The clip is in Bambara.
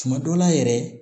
Tuma dɔ la yɛrɛ